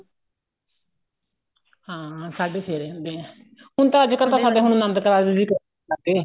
ਹਾਂ ਸਾਡੇ ਫੇਰੇ ਹੁੰਦੇ ਆ ਹੁਣ ਤਾਂ ਅੱਜਕਲ ਸਾਡੇ ਨੰਦ ਕਾਰਜ ਵੀ ਹੋਣ ਲੱਗ ਗਏ